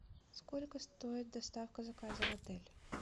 сколько стоит доставка заказа в отель